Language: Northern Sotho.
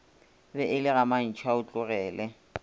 be e le ga mantšhaotlogele